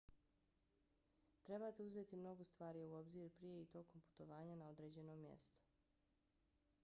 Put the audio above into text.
trebate uzeti mnogo stvari u obzir prije i tokom putovanja na određeno mjesto